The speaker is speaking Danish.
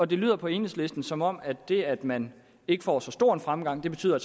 det lyder på enhedslisten som om at det at man ikke får så stor en fremgang betyder at